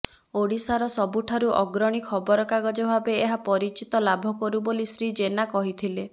ଓଡ଼ିଶାର ସବୁଠାରୁ ଅଗ୍ରଣୀ ଖବର କାଗଜ ଭାବେ ଏହା ପରିଚିତି ଲାଭ କରୁ ବୋଲି ଶ୍ରୀ ଜେନା କହିଥିଲେ